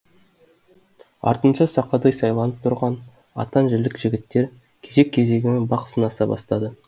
артынша сақадай сайланып тұрған атан жілік жігіттер кезек кезегімен бақ сынаса бастады